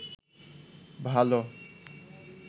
ভালো